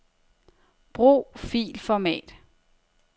Brug filformat.